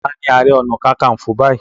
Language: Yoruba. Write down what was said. Tani Ààrẹ Ọ̀nà Kakaǹfò báyìí